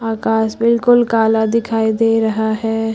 आकाश बिल्कुल काला दिखाई दे रहा है।